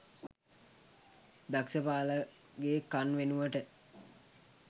දක්ස පාලගේ කන් වෙනුවට